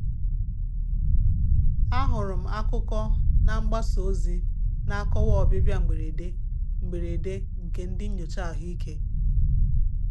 Ahụrụ m akụkọ na mgbasa ozi na-akọwa ọbịbịa mberede mberede nke ndị nyocha ahụike.